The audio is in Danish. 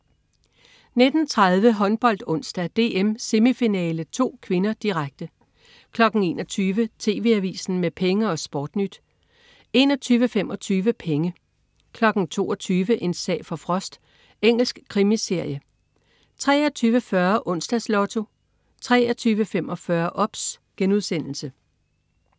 19.30 HåndboldOnsdag: DM semifinale II (k), direkte 21.00 TV AVISEN med Penge og SportNyt 21.25 Penge 22.00 En sag for Frost. Engelsk krimiserie 23.40 Onsdags Lotto 23.45 OBS*